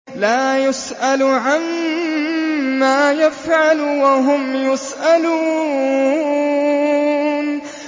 لَا يُسْأَلُ عَمَّا يَفْعَلُ وَهُمْ يُسْأَلُونَ